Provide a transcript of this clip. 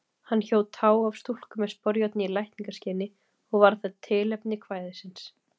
Hann hjó tá af stúlku með sporjárni í lækningaskyni og varð það tilefni kvæðisins.